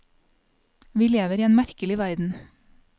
Vi lever i en merkelig verden.